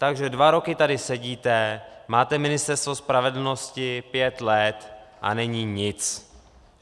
Takže dva roky tady sedíte, máte Ministerstvo spravedlnosti pět let, a není nic.